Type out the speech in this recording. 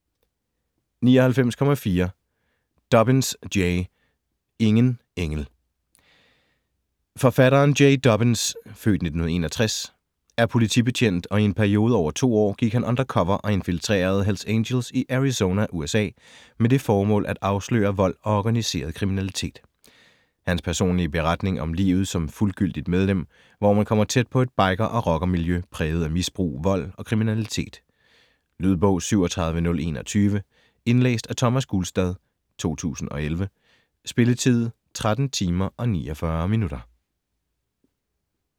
99.4 Dobyns, Jay Ingen engel Forfatteren, Jay Dobyns (f. 1961) er politibetjent og i en periode over 2 år gik han undercover og infiltrerede Hells Angels i Arizona, USA med det formål at afsløre vold og organiseret kriminalitet. Hans personlige beretning om livet som fuldgyldigt medlem, hvor man kommer tæt på et biker- og rockermiljø præget af misbrug, vold og kriminalitet. Lydbog 37021 Indlæst af Thomas Gulstad, 2011. Spilletid: 13 timer, 49 minutter.